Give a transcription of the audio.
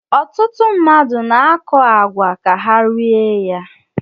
Ọtụtụ mmadụ na-akọ àgwà ka ha rie ya